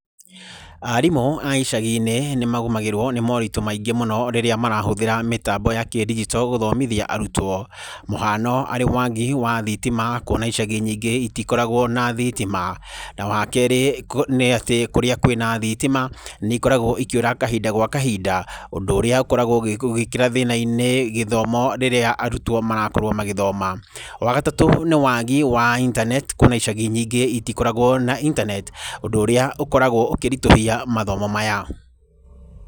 Arimũ a icagi-inĩ nĩ magũmĩragwo nĩ moritũ maingĩ mũno rĩrĩa marahũthĩra mĩtambo ya kĩndigito gũthomithia arutwo. Mũhano arĩ wagi wa thitima kuona atĩ icagi nyingĩ itikoragwo na thitima. Na wa kerĩ nĩ atĩ kũrĩa kwĩna thitima nĩ ikoragwo ikĩũra kahinda gwa kahinda. Ũndũ ũrĩa ũkoragwo ũgĩĩkĩra thĩna-inĩ gĩthomo rĩrĩa arutwo marakorwo magĩthoma. Wa gatatũ nĩ wagi wa intaneti kuona icagi nyingĩ itikoragwo na intaneti. Ũndũ ũrĩa ũkoragwo ũkĩritũhia mathomo maya.